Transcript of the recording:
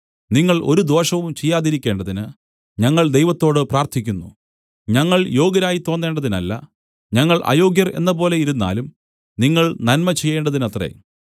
നിങ്ങൾ ഒരു ദോഷവും ചെയ്യാതിരിക്കേണ്ടതിന് ഞങ്ങൾ ദൈവത്തോട് പ്രാർത്ഥിക്കുന്നു ഞങ്ങൾ യോഗ്യരായി തോന്നേണ്ടതിനല്ല ഞങ്ങൾ അയോഗ്യർ എന്നപോലെ ഇരുന്നാലും നിങ്ങൾ നന്മ ചെയ്യേണ്ടതിനത്രേ